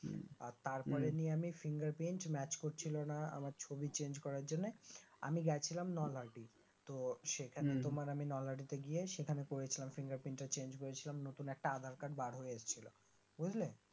হম তারপরে উম আমি fingerprint, match করছিলোনা আমার ছবি চেঞ্জ করার জন্য আমি গেছিলাম নলহাটি তো সেখানে তোমার আমি নলহাটিতে গিয়ে সেখানে করেছিলাম fingerprint টা Change করেছিলাম নতুন একটা আধার কার্ড বার হয়ে আসছিলো বুঝলে